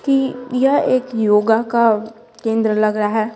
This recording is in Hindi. कि यह एक योगा का केंद्र लग रहा है।